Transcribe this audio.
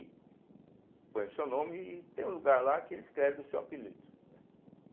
E põe o seu nome e tem um lugar lá que ele escreve o seu apelido, né.